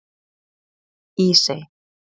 Ísey